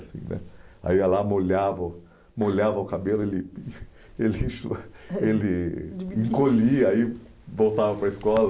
Assim né aí eu ia lá, molhava o molhava o cabelo, ele ele ele encolhia, aí voltava para a escola.